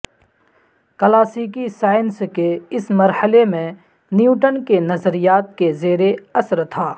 کلاسیکی سائنس کے اس مرحلے میں نیوٹن کے نظریات کے زیر اثر تھا